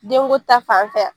Denko ta fan fɛ